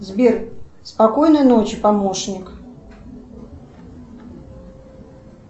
сбер спокойной ночи помощник